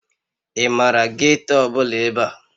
Ị maara geeto ọbụla ebe a?